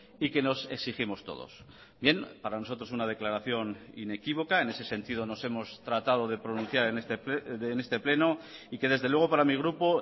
y que nos exigimos todos bien para nosotros una declaración inequívoca en ese sentido nos hemos tratado de pronunciar en este pleno y que desde luego para mi grupo